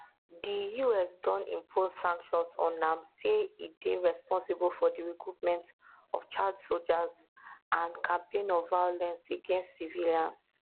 di us don impose sanctions on am say e dey responsible for di recruitment of child sojas and campaigns of violence against civilians